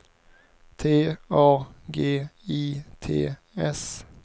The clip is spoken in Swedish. T A G I T S